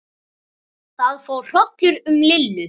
Það fór hrollur um Lillu.